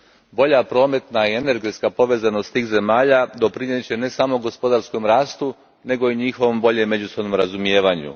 Bolja prometna i energetska povezanost tih zemalja doprinijet će ne samo gospodarskom rastu nego i njihovom boljem međusobnom razumijevanju.